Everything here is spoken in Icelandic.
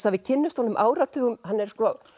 að við kynnumst honum áratugum hann er